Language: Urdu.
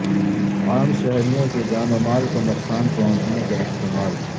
عام شہریوں کی جان و مال کو نقصان پہنچنے کا احتمال